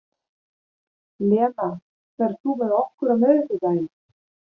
Lena, ferð þú með okkur á miðvikudaginn?